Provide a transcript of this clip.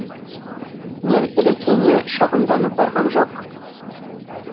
мен ілекеңе шағымданып барғам жоқ